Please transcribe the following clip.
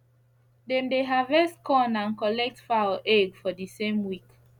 dem dey harvest corn and collect fowl egg for the same week